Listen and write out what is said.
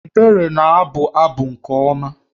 Ebere na-abụ abụ nke ọma